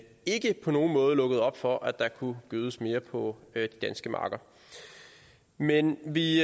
ikke på nogen måde lukkede op for at der kunne gødes mere på de danske marker men vi